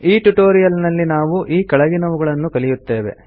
ಈ ಟ್ಯುಟೋರಿಯಲ್ ನಲ್ಲಿ ನಾವು ಈ ಕೆಳಗಿನವುಗಳನ್ನು ಕಲಿಯುತ್ತೇವೆ